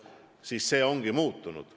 Strateegia ongi muutunud.